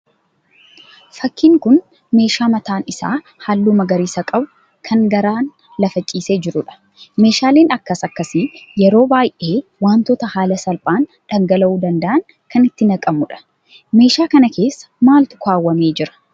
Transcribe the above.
Fakkiin kun meeshaa mataan isaa halluu magariisa qabu kan garaan lafa ciisee jiruudha. Meeshaaleen akkas akkasii yeroo baay'ee wantoota haala salphaan dhangala'uu danda'aan kan itti naqamuudha. Meeshaa kana keessa maaltu kaawwamee jira?